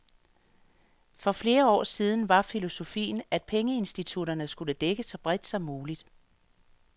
For flere år siden var filosofien, at pengeinstitutterne skulle dække så bredt som muligt.